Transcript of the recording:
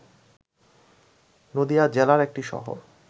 নদীয়া জেলার একটি শহর